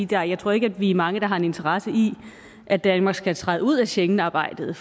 gange jeg tror ikke at vi er mange der har en interesse i at danmark skal træde ud af schengensamarbejdet